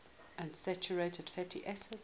unsaturated fatty acids